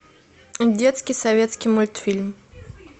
детский советский мультфильм